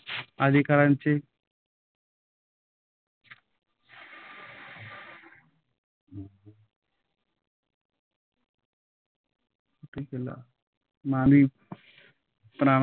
अधिकारांचे मानवी प्राप्त.